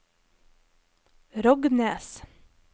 Rognes